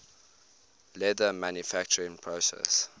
leather manufacturing process